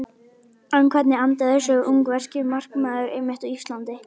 En hvernig endaði þessi ungverski markmaður einmitt á Íslandi?